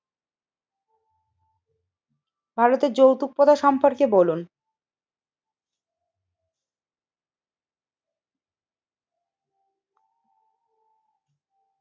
ভারতের যৌতুকতা সম্পর্কে বলুন,